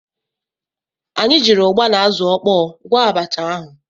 Anyị jiiri ụgba na azụ ọkpọọ gwọọ abacha ahụ.